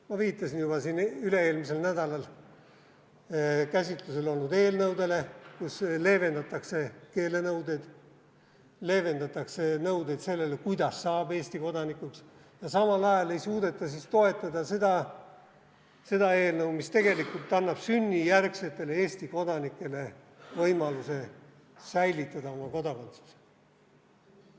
Ma viitasin juba siin üle-eelmisel nädalal käsitlusel olnud eelnõudele, kus leevendatakse keelenõudeid, leevendatakse nõudeid sellele, kuidas saab Eesti kodanikuks, ja samal ajal ei suudeta siis toetada seda eelnõu, mis tegelikult annab sünnijärgsetele Eesti kodanikele võimaluse säilitada oma kodakondsus.